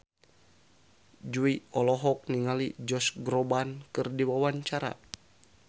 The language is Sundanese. Jui olohok ningali Josh Groban keur diwawancara